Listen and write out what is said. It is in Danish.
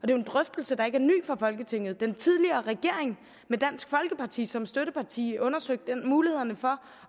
jo en drøftelse der ikke er ny for folketinget den tidligere regering med dansk folkeparti som støtteparti undersøgte mulighederne for